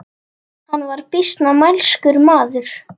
Hann var býsna mælskur maður.